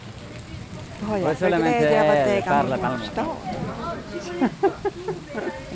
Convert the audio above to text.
Vad har jag för glädje av att äga min bostad?